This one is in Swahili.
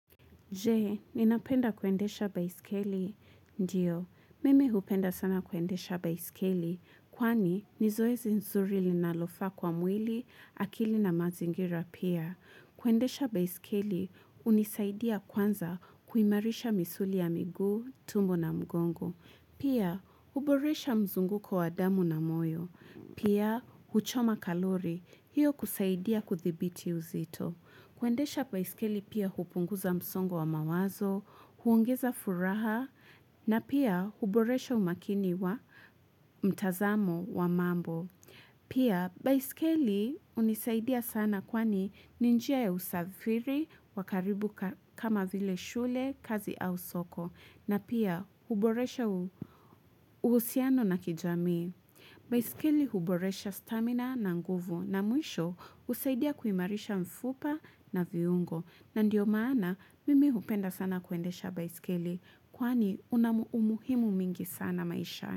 Je, ninapenda kuendesha baiskeli? Ndiyo, mimi hupenda sana kuendesha baiskeli, kwani ni zoezi nzuri linalofaa kwa mwili, akili na mazingira pia. Kuendesha baiskeli, hunisaidia kwanza kuimarisha misuli ya miguu, tumbo na mgongo. Pia, huboresha mzunguko wa damu na moyo. Pia, huchoma kalori, hiyo kusaidia kuthibiti uzito. Kuendesha baiskeli pia hupunguza msongo wa mawazo, huongeza furaha na pia huboresha umakini wa mtazamo wa mambo. Pia baiskeli hunisaidia sana kwani ni njia ya usafiri, wa karibu kama vile shule, kazi au soko na pia huboresha uhusiano na kijamii. Baiskeli huboresha stamina na nguvu na mwisho husaidia kuimarisha mfupa na viungo na ndio maana mimi hupenda sana kuendesha baiskeli kwani unamu umuhimu mingi sana maisha.